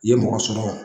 I ye mɔgɔ sɔrɔ